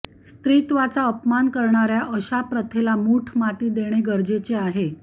स्त्रीत्वाचा अपमान करणार्या अशा प्रथेला मुठमाती देणे गरजेचे आहे